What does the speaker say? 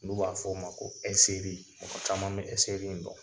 N'u b'a fɔ o ma ko ɛseri mɔgɔ caman be ɛseri in dɔn.